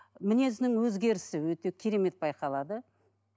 мінезінің өзгерісі өте керемет байқалады